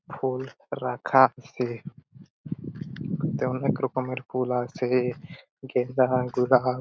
ফুল রাখা আছে এতে অনকে রকমের ফুল আছে গেন্দা গুলাব।